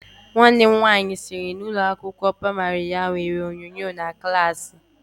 Nwanne m nwaanyị sịrị na ụlọ akwụkwọ praimari ya nwere onyonyo na klaasị.